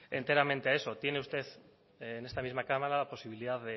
enteramente a eso tiene usted en esta misma cámara la posibilidad